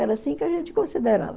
Era assim que a gente considerava.